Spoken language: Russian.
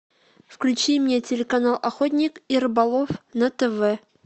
включи мне телеканал охотник и рыболов на тв